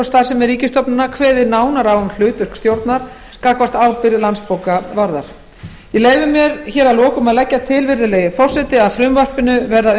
starfsemi ríkisstofnana kveðið nánar á um hlutverk stjórnar gagnvart ábyrgð landsbókavarðar ég leyfi mér að lokum að leggja til virðulegi forseti að frumvarpinu verði að